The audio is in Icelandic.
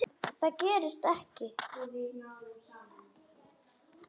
Það gerist ekki,